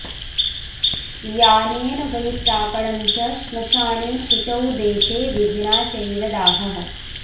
यानेन वै प्रापणं च श्मशाने शुचौ देशे विधिना चैव दाहः